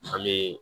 An bɛ